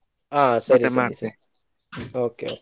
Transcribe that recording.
ಹಾ ಸರಿ ಸರಿ okay .